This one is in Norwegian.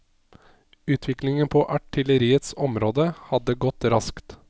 Utviklingen på artilleriets område hadde gått raskt.